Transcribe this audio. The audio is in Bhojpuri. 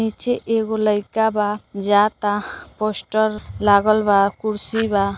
नीचे एगो लईका बा जाता पोस्टर लागल बा कुर्सी बा।